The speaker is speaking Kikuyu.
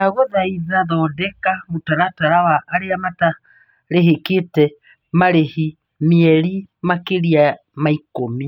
Ndagũthaitha thondeka mũtaratara wa arĩa mataamũkĩrĩte marĩhi mĩeri makĩria ma ikũmi.